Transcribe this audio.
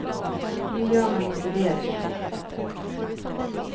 Nu gör man inte det längre.